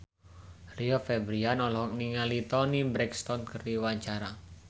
Rio Febrian olohok ningali Toni Brexton keur diwawancara